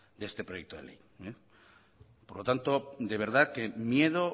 de este proyecto de ley por lo tanto de verdad que miedo